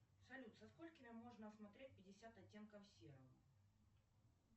салют со сколькими можно смотреть пятьдесят оттенков серого